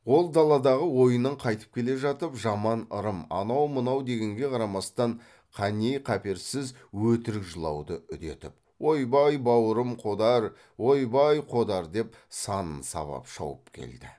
ол даладағы ойыннан қайтып келе жатып жаман ырым анау мынау дегенге қарамастан қаннеи қаперсіз өтірік жылауды үдетіп ойбай бауырым қодар ойбай қодар деп санын сабап шауып келді